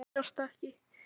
Neglurnar sjást ekki.